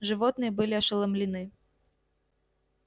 животные были ошеломлены